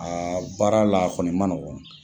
baara la a kɔni man nɔgɔ